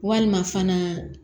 Walima fana